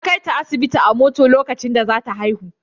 Ya kaita asibiti a mota lokacin da za ta haihu.